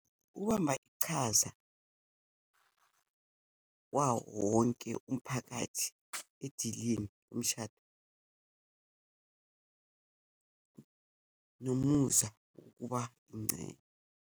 Ukubamba ichaza kwawowonke umphakathi edilini umshado nomusa wokuba .